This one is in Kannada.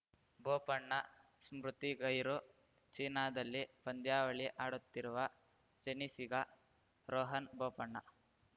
ಬೋಪಣ್ಣ ಸ್ಮೃತಿ ಗೈರು ಚೀನಾದಲ್ಲಿ ಪಂದ್ಯಾವಳಿ ಆಡುತ್ತಿರುವ ಟೆನ್ನಿಸ್ಸಿಗ ರೋಹನ್‌ ಬೋಪಣ್ಣ